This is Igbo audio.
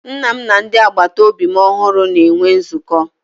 Nna m na ndị agbata obi ọhụrụ na-enwe nzukọ